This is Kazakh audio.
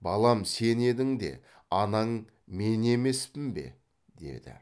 балам сен едің де анаң мен емеспін бе деді